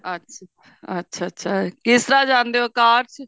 ਅੱਛਾ ਅੱਛਾ ਅੱਛਾ ਕਿਸ ਤਰ੍ਹਾਂ ਜਾਂਦੇ ਹੋ ਕਾਰ ਚ